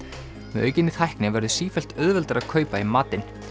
með aukinni tækni verður sífellt auðveldara að kaupa í matinn